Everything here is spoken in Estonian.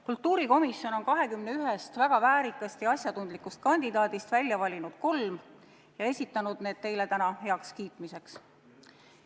Kultuurikomisjon on 21 väga väärikast ja asjatundlikust kandidaadist välja valinud kolm ja esitanud need teile täna heakskiitmiseks.